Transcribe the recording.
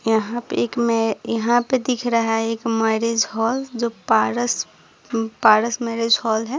यहाँ पे एक में यहाँ पे दिख रहा है एक मैरिज हॉल जो पारस पारस मैरिज हॉल है।